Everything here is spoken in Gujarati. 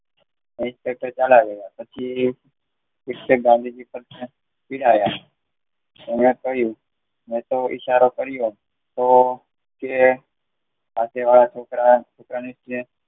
પછી સિક્ષક ગાંધીજી ને ચિડાયા. એને કહ્યું, મેં તો ઈશારો કર્યો તો તે પાછળ વાળા છોકરાને